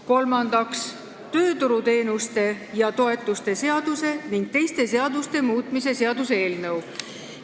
Kolmandaks, tööturuteenuste ja -toetuste seaduse ning teiste seaduste muutmise seaduse eelnõu.